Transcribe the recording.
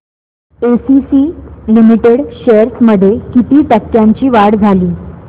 ACC limited shares मध्ये किती टक्क्यांची वाढ झाली